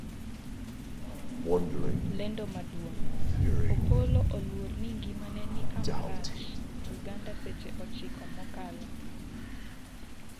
lendo maduong' Opollo oluor ni ngimane ni kama rach 'Uganda seche ochiko mokalo